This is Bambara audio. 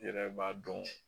I yɛrɛ b'a dɔn